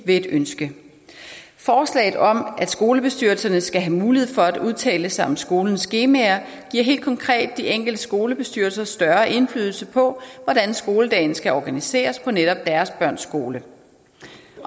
ved et ønske forslaget om at skolebestyrelserne skal have mulighed for at udtale sig om skolens skemaer giver helt konkret de enkelte skolebestyrelser større indflydelse på hvordan skoledagen skal organiseres på netop deres børns skole